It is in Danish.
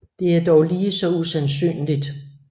Det er dog lige så usandsynligt